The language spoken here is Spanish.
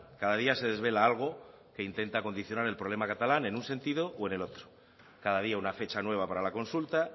cada día se desvela algo que intenta condicionar el problema catalán en un sentido o en el otro cada día una fecha nueva para la consulta